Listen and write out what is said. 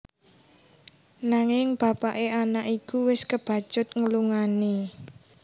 Nanging bapaké anak iku wis kebacut nglungani